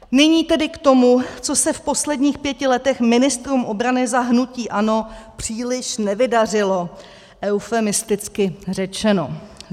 Nyní tedy k tomu, co se v posledních pěti letech ministrům obrany za hnutí ANO příliš nevydařilo, eufemisticky řečeno.